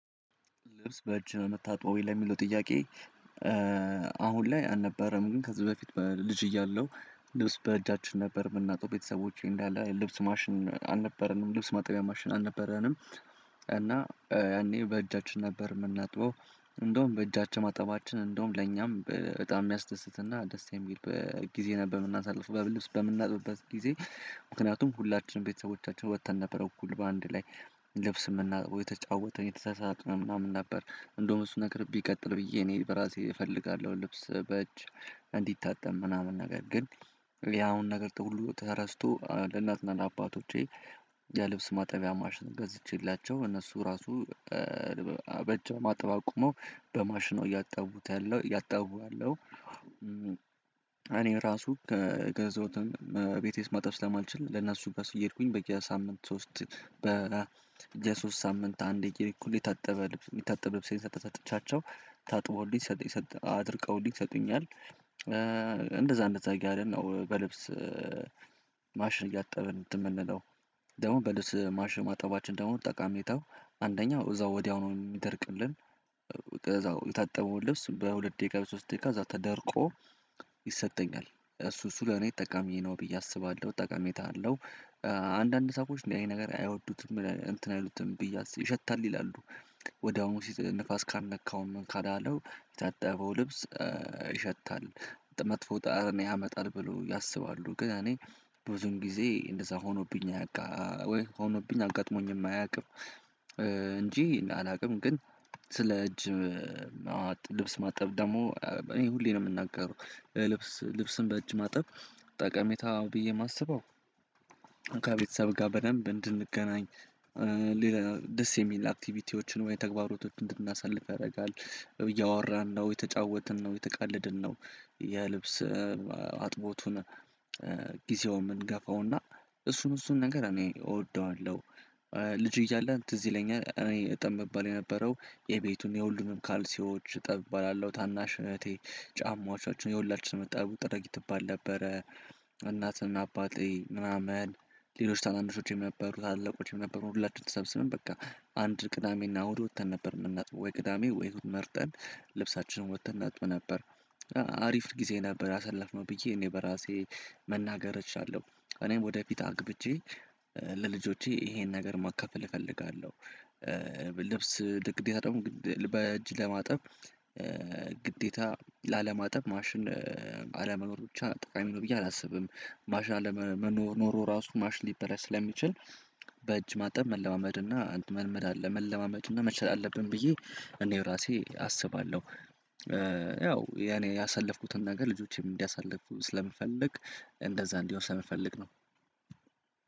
ልብስ በእጅህ ነው የምታጥበው ወይ ለሚለው ጥያቄ? አሁን ላይ አልነበረም ግን ከዚህ በፊት ልጅ እያለው ልብስ በእጃችን ነበር ምናጥበው ቤተሰቦቼ እንዳለ ልብስ ማሽን አልነበረንም ልብስ ማጠቢያ ማሽን አልነበረንም እና ያኔ በእጃችን ነበር የምናጥበው እንደውም በእጃችን ማጠባችን እንደውም ለኛም በጣም የሚያስደስትና ደስ የሚል ጊዜ ነበር የምናሳልፍ ልብስ በምናጥብበት ጊዜ። ምክንያቱም ሁላችንም ቤተሰቦቻችን ወጥተን ነበር እኩል በአንድ ላይ ልብስ የምናጠበው እየተጫወትነ እየተሳሳቅነ ምናምን ነበር እንደውም እሱ ነገር ቢቀጥል ብዬ እኔ በራሴ እፈልጋለሁ ልብስ በእጅ እንዲታጠብ ምናምን ነገር ግን ያሁን ነገር ተሁሉ ተረስቶ ለእናትና ለአባቶቼ የልብስ ማጠቢያ ማሽን ገዝቼላቸው እነሱ ራሱ በእጅ አጥብ አቁመው በማሽኑ እያጣቡት ያለው እያጣቡ አለው። እኔ ራሱ ከገዛሁትም ቤቴ ውስጥ ማጠብ ስለማልችል ለእነሱ በሱ እየሄድኩኝ በየ ሳምንት ሶስት በ የሶስት ሳምንት አንዴ ከሄድኩ እኩል የታጠበ ልብስ የሚታጠበ ልብስ ሰጥቻቸው ታጥቦልኝ አድርቀውልኝ ይሰጡኛል። እንደዛ እንደዛ እያልን ነው በልብስ ማሽን እያጠብን እንትን የምንለው ደግሞ በልብስ ማሽን ማጠባችን ደግሞ ጠቃሚ ነው አንደኛው እዛው ወዲያው ነው የሚደርቅልን እዛው የታጠበውን ልብስ በሁለት ደቂቃ በሶስት ደቂቃ እዛ ተደርቆ ይሰጠኛል እሱ እሱ ለኔ ጠቃሚ ነው ብዬ አስባለሁ ጠቃሜታ አለው። አንዳንድ ሰው እንዲህ አይነት ነገር አይወዱትም እንትን አይሉትም ብዬ አስ ይሸታል ይላሉ ወድያውኑ ንፋስ ካልነካው ምን ካላለው የተጠበው ልብስ ይሸታል መጥፎ ጠረን ያመጣል ብሎ ያስባሉ ግን እኔ ብዙን ጊዜ እንደዛ ሆኖብኝ ሆኖብኝ አጋጥሞኝም አያውቅም። እንጂ አላውቅም ግን ስለ እጅ ልብስ ማጠብ ደግሞ እኔ ሁሌ ነው ምናገረው ልብስ ልብስን በእጅ ማጠብ ጠቀሜታ ብዬ የማስበው ከቤተሰብ ጋር በደንብ እንድንገናኝ። ደስ የሚል አክቲቪቲዎችን ወይ ተግባሮቶችን እንድናሳልፍ ያደርጋል እያወራን ነው የተጫወትን ነው የተቀለድን ነው የልብስ አጥቦቱን ጊዜውን የምንገፋውና እሱን እሱን ነገር እኔ እወደዋለሁ። ልጅ እያለን ትዝ ይለኛል እኔ እጠብ የምባል የነበረው የቤቱን የሁሉንም ካልሲዎች እጠብ እባላለሁ ታናሽ እህቴ ጫማዎቻችን የሁላችንም እጠቡ ጥረጊ ትባል ነበረ። እናትና አባቴ ምናምን ሌሎች ታናንሾቼም የነበሩና ታላላቆቼም ነበሩ ሁላችንም ተሰብስበን በቃ አንድ ቅዳሜና እሁድ ወጥተን ነበር የምናጥበው ወይ ቅዳሜ ወይ እሁድ መርጠን ልብሳችንን ወጥተን እናጥብ ነበር። አሪፍ ጊዜ ነበር ያሳለፍነው ብዬ እኔ በራሴ መናገር እችላለሁ እኔም ወደፊት አግብቼ ለልጆቼ ይሄን ነገር ማካፈል እፈልጋለሁ። ልብስ ለግዴታ ደግሞ በእጅ ለማጠብ ግዴታ ላለማጠብ ማሽን አለመኖር ብቻ ጠቃሚ ነው ብዬ አላስብም ማሽን አለመኖር ኖሮ ራሱ ማሽን ሊበላሽ ስለሚችል በእጅ ማጠብ መለማመድ እና መልመድ አለ መለማመድ እና መቻል አለብን ብዬ እኔ ራሴ አስባለሁ። ያው የኔ ያሳለፍኩትን ነገር ልጆቼም እንዲያሳልፉ ስለምፈልግ እንደዛ እንዲሆን ስለምፈልግ ነው።